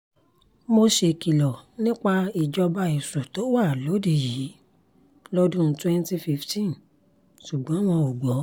mo ṣèkìlọ̀ nípa ìjọba èṣù tó wà lóde yìí lọ́dún twenty fifteen ṣùgbọ́n wọn ò gbọ́